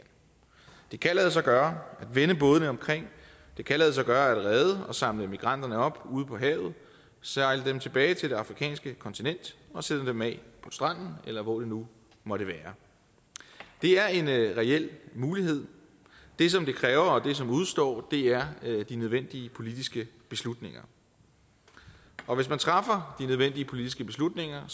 det kan lade sig gøre at vende bådene omkring det kan lade sig gøre at redde og samle migranterne op ude på havet sejle dem tilbage til det afrikanske kontinent og sætte dem af på stranden eller hvor det nu måtte være det er en reel mulighed det som det kræver og det som udestår er de nødvendige politiske beslutninger og hvis man træffer de nødvendige politiske beslutninger